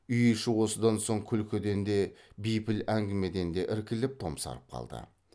үй іші осыдан соң күлкіден де бейпіл әңгімеден де іркіліп томсарып қалды